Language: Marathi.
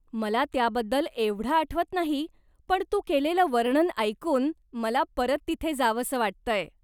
मला त्याबद्दल एवढं आठवत नाही पण तू केलेलं वर्णन ऐकून मला परत तिथे जावसं वाटतंय.